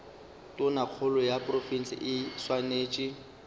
tonakgolo ya profense e swanetše